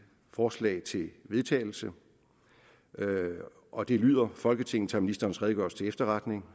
forslag til vedtagelse og det lyder folketinget tager ministerens redegørelse til efterretning